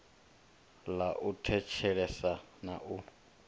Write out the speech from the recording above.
ḽa u thetshelesa na u